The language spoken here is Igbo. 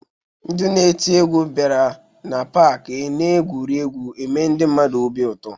Ndị na-eti egwu bịara n'pak n'egwuregwu eme ndị mmadụ obi aṅụrị